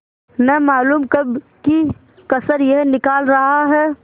न मालूम कब की कसर यह निकाल रहा है